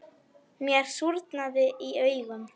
Mér súrnaði í augum.